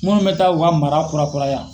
Munnu bɛ taa u ka mara kura kura ya.